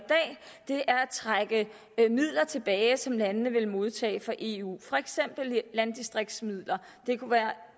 trække midler tilbage som landene vil modtage fra eu for eksempel landdistriktsmidler det kunne være